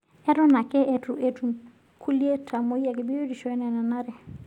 Eton ake eitu etum kulie tamoyiak biotisho enanare.